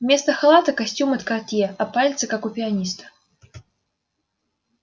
вместо халата костюм от картье а пальцы как у пианиста